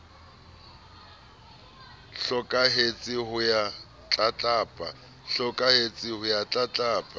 a hlokahetse ho ya tlatlapa